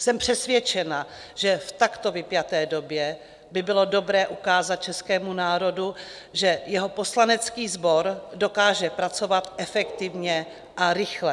Jsem přesvědčena, že v takto vypjaté době by bylo dobré ukázat českému národu, že jeho poslanecký sbor dokáže pracovat efektivně a rychle.